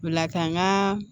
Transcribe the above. Lakana